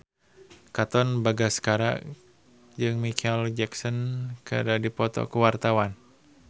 Katon Bagaskara jeung Micheal Jackson keur dipoto ku wartawan